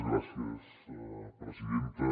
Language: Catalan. gràcies presidenta